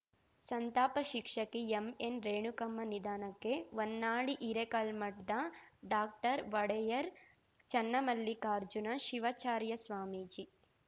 ಸಂತಾಪ ಶಿಕ್ಷಕಿ ಎಂಎನ್‌ರೇಣುಕಮ್ಮ ನಿಧನಕ್ಕೆ ಹೊನ್ನಾಳಿ ಹಿರೇಕಲ್ಮಠದ ಡಾಕ್ಟರ್ ಒಡೆಯರ್‌ ಚನ್ನಮಲ್ಲಿಕಾರ್ಜುನ ಶಿವಾಚಾರ್ಯ ಸ್ವಾಮಿಜಿ